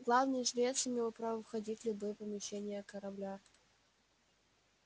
главный жрец имел право входить в любые помещения корабля